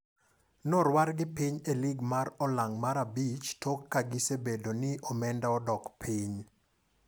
Norwargi piny e lig mar ong'ala mar abich tok ka gisebedo ni omenda odok piny.